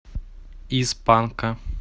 из панка